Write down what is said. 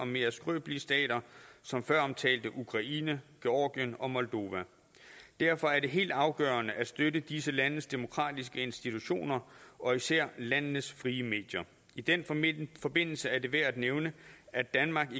mere skrøbelige stater som føromtalte ukraine georgien og moldova derfor er det helt afgørende at støtte disse landes demokratiske institutioner og især landenes frie medier i den forbindelse er det værd at nævne at danmark